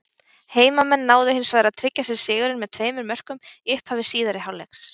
Heimamenn náðu hins vegar að tryggja sér sigurinn með tveimur mörkum í upphafi síðari hálfleiks.